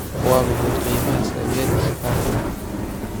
Waa maxay qiimaha saamiyada safaricom?